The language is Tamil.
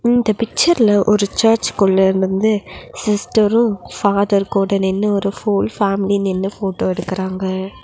இந்த பிச்சர்ல ஒரு சர்ச் குள்ள இருந்து சிஸ்டரு ஃபாதர் கூட நின்னு ஒரு ஹோல் ஃபேமிலி நின்னு போட்டோ எடுக்குறாங்க.